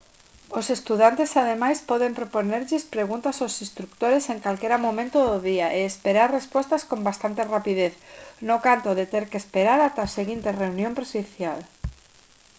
os estudantes ademais poden propoñerlles preguntas aos instrutores en calquera momento do día e esperar respostas con bastante rapidez no canto de ter que esperar ata a seguinte reunión presencial